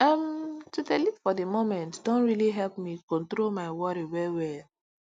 um to dey live for the moment don really help me control my worry well well